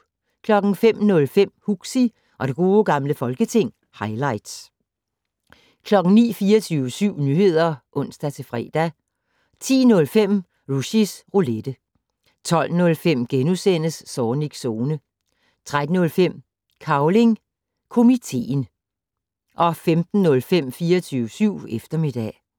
05:05: Huxi og det gode gamle folketing - highlights 09:00: 24syv Nyheder (ons-fre) 10:05: Rushys Roulette 12:05: Zornigs Zone * 13:05: Cavling Komiteen 15:05: 24syv eftermiddag